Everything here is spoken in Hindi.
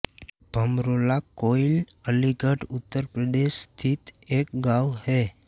भमरौला कोइल अलीगढ़ उत्तर प्रदेश स्थित एक गाँव है